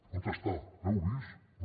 on està l’heu vist no